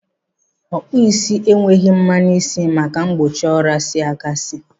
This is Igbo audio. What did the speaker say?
Ọkpụụ isi enweghị mmanụ isi maka mgbochi ọria isi gasị.